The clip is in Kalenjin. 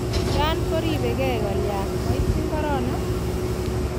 Iran koribegei kolya maityi korona?